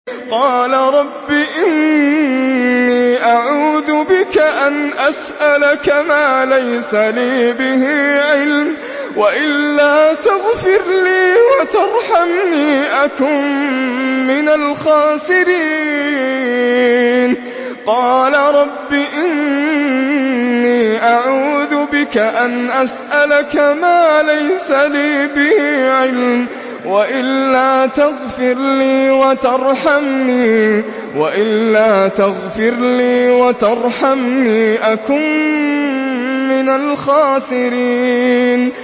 قَالَ رَبِّ إِنِّي أَعُوذُ بِكَ أَنْ أَسْأَلَكَ مَا لَيْسَ لِي بِهِ عِلْمٌ ۖ وَإِلَّا تَغْفِرْ لِي وَتَرْحَمْنِي أَكُن مِّنَ الْخَاسِرِينَ